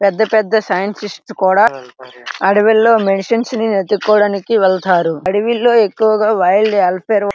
పెద్ద పెద్ద సైంటిస్ట్ లు కూడా అడివిలో మెడిసిన్స్ వెళ్తారు. అడివిలో ఎక్కువగా వైల్డ్ ]